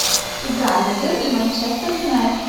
игра ливер и манчестер юнайтед